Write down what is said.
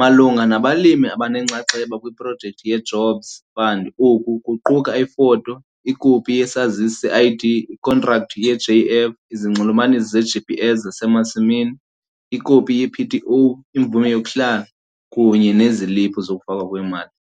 Malunga nabalimi abanenxaxheba kwiProjekthi yeJobs Fund oku kuquka ifoto, ikopi yesazisi seID, ikhontrakthi yeJF, izinxulumanisi zeGPS zasemasimini, ikopi yePTO, imvume yokuhlala, kunye neziliphu zokufakwa kwemali.